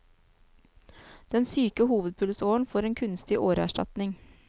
Den syke hovedpulsåren får en kunstig åreerstatning.